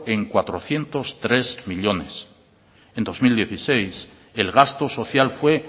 en cuatrocientos tres millónes en dos mil dieciséis el gasto social fue